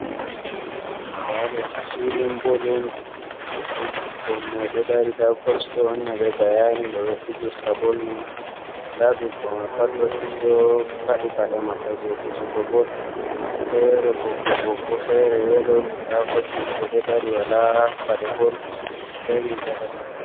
Nda do ha filin bol on. Bikkoi mai do dari nda koch do wanna be bayani no be fijirta bol man. Nda bikkoi mai pat do fadi pade mabbe je fijugo bol fere bokko-bokko, fere yelo da koch mai bo do dari wala pade bol be riga danejum